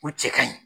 U cɛ ka ɲi